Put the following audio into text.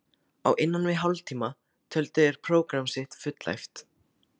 Á innan við hálftíma töldu þeir prógramm sitt fullæft.